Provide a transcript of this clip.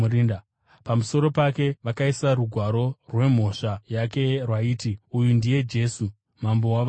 Pamusoro pake vakaisa rugwaro rwemhosva yake rwaiti: “ uyu ndijesu, mambo wavajudha .”